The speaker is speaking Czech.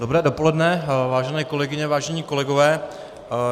Dobré dopoledne, vážené kolegyně, vážení kolegové.